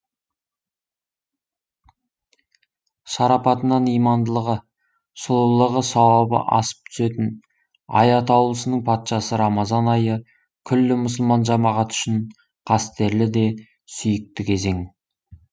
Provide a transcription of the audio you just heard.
шарапатынан имандылығы сұлулығы сауабы асып түсетін ай атаулысының патшасы рамазан айы күллі мұсылман жамағаты үшін қастерлі де сүйікті кезең